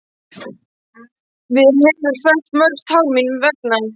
Hún hefur fellt mörg tár mín vegna.